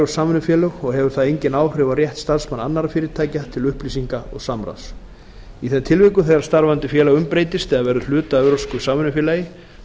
evrópsk samvinnufélög og hefur það engin áhrif á rétt starfsmanna annarra fyrirtækja til upplýsinga og samráðs í þeim tilvikum þegar starfandi félag umbreytist eða verður hluti af evrópsku samvinnufélagi